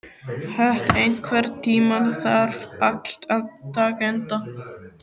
Hödd, einhvern tímann þarf allt að taka enda.